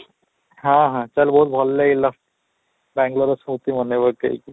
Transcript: ହଁ, ହଁ, ଚାଲ ବହୁତ ଭଲ ଲାଗିଲା ବାଙ୍ଗାଲୁରର ସ୍ମୃତି ମାନେ ପକେଇ କି